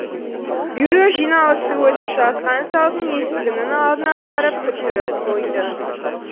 бюро жиналысы өтіп жатқан залдың есігінің алдына апарып күттіріп қойды